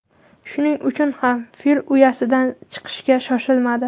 Shuning uchun ham Fil uyasidan chiqishga shoshilmadi.